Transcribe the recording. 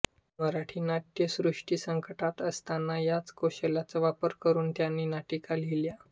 मराठी नाट्यसृष्टी संकटात असताना याच कौशल्याचा वापर करून त्यांनी नाटिका लिहिल्या